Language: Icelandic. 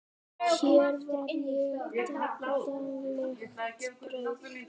Hér var það daglegt brauð.